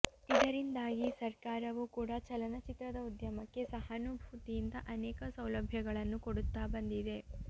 ಇದರಿಂದಾಗಿ ಸರ್ಕಾರವೂ ಕೂಡ ಚಲನಚಿತ್ರದ ಉದ್ಯಮಕ್ಕೆ ಸಹಾನುಭೂತಿಯಿಂದ ಆನೇಕ ಸೌಲಭ್ಯಗಳನ್ನು ಕೊಡುತ್ತಾ ಬಂದಿದೆ